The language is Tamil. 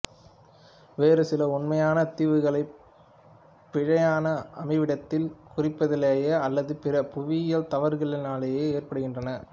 வேறு சில உண்மையான தீவுகளைப் பிழையான அமைவிடத்தில் குறிப்பதனாலோ அல்லது பிற புவியியல் தவறுகளினாலோ ஏற்படுகின்றன